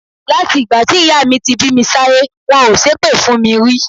Láti ìgbà tí ìyá mi ti bí mi sáyé, wọn ò ṣépè fún mi rí.